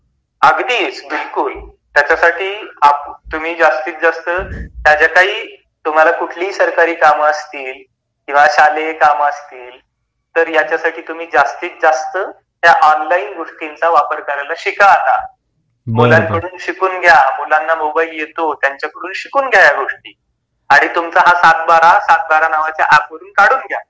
अगदीच बिल्कुल, त्यासाठी तुम्ही जास्तीत जास्त त्याही तुम्हाला कुठलीही सरकारी काम असते किंवा साधे काम असतील तर यासाठी तुम्ही ऑनलाइन गोष्टींचा जास्तीत जास्त वापर करायला शिका आता. आता मुलांकडून शिकून घ्या, मुलाना आता मोबाईल येतो तर शिकून घ्या आता या गोष्टी. आणि तुमचा हा सातबारा सातबारा च्या ऐप वरुन काढून घ्या.